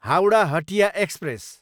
Howrah, Hatia express